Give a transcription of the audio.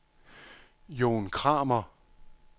Jon Kramer